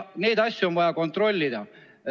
Neid asju on vaja kontrollida.